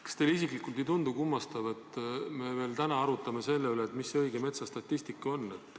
Kas teile isiklikult ei tundu kummastav, et me täna ikka veel arutame selle üle, milline on õige metsastatistika?